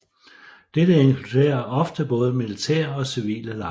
Dette inkluderer ofte både militære og civile lejre